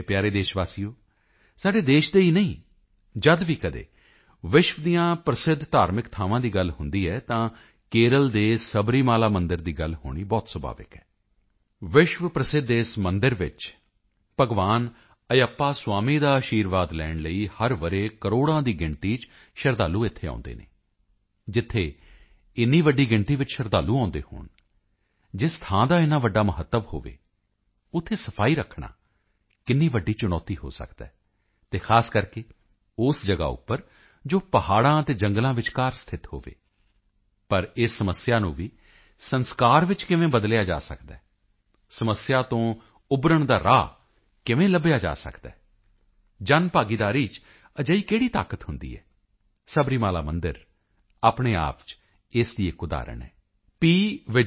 ਮੇਰੇ ਪਿਆਰੇ ਦੇਸ਼ ਵਾਸੀਓ ਸਾਡੇ ਦੇਸ਼ ਦੇ ਹੀ ਨਹੀਂ ਜਦ ਵੀ ਕਦੀ ਵਿਸ਼ਵ ਦੀਆਂ ਪ੍ਰਸਿੱਧ ਧਾਰਮਿਕ ਥਾਵਾਂ ਦੀ ਗੱਲ ਹੁੰਦੀ ਹੈ ਤਾਂ ਕੇਰਲ ਦੇ ਸਬਰੀਮਾਲਾ ਮੰਦਿਰ ਦੀ ਗੱਲ ਹੋਣੀ ਬਹੁਤ ਸੁਭਾਵਿਕ ਹੈ ਵਿਸ਼ਵ ਪ੍ਰਸਿੱਧ ਇਸ ਮੰਦਿਰ ਵਿੱਚ ਭਗਵਾਨ ਅਯੱਪਾ ਸੁਆਮੀ ਦਾ ਅਸ਼ੀਰਵਾਦ ਲੈਣ ਲਈ ਹਰ ਵਰ੍ਹੇ ਕਰੋੜਾਂ ਦੀ ਗਿਣਤੀ ਵਿੱਚ ਸ਼ਰਧਾਲੂ ਇੱਥੇ ਆਉਦੇ ਹਨ ਜਿੱਥੇ ਇੰਨੀ ਵੱਡੀ ਗਿਣਤੀ ਵਿੱਚ ਸ਼ਰਧਾਲੂ ਆਉਦੇ ਹੋਣ ਜਿਸ ਥਾਂ ਦਾ ਇੰਨਾ ਵੱਡਾ ਮਹੱਤਵ ਹੋਵੇ ਉੱਥੇ ਸਫਾਈ ਰੱਖਣਾ ਕਿੰਨੀ ਵੱਡੀ ਚੁਣੌਤੀ ਹੋ ਸਕਦੀ ਹੈ ਅਤੇ ਖਾਸ ਕਰਕੇ ਉਸ ਜਗ੍ਹਾ ਉੱਪਰ ਜੋ ਪਹਾੜਾਂ ਤੇ ਜੰਗਲਾਂ ਵਿਚਕਾਰ ਸਥਿਤ ਹੋਵੇ ਪਰ ਇਸ ਸਮੱਸਿਆ ਨੂੰ ਵੀ ਸੰਸਕਾਰ ਵਿੱਚ ਕਿਵੇਂ ਬਦਲਿਆ ਜਾ ਸਕਦਾ ਹੈ ਸਮੱਸਿਆ ਤੋਂ ਉਭਰਣ ਦਾ ਰਾਹ ਕਿਵੇਂ ਲੱਭਿਆ ਜਾ ਸਕਦਾ ਹੈ ਜਨਭਾਗੀਦਾਰੀ ਚ ਅਜਿਹੀ ਕਿਹੜੀ ਤਾਕਤ ਹੁੰਦੀ ਹੈ ਸਬਰੀਮਾਲਾ ਮੰਦਿਰ ਆਪਣੇ ਆਪ ਚ ਇਸ ਦੀ ਇੱਕ ਉਦਾਹਰਣ ਹੈ ਪੀ